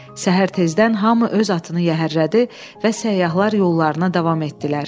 Səhər tezdən hamı öz atını yəhərlədi və səyyahlar yollarına davam etdilər.